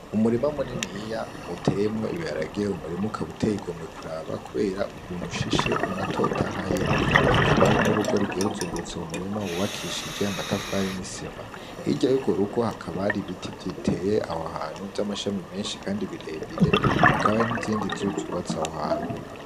Umurima muniniya utemwo ibiharage, umurima ukaba uteye igomwe kuraba, kubera ukuntu ushishe unatotahaye, hakaba hari n'urugo rugiye ruzungurutse uwo murima wubakishije amatafari n'isima, hiryo yugo rugo hakabari ibiti biteye aho hantu vy'amashami menshi, kandi birebire, hakabari n'izindi nzu zubatse aho hantu.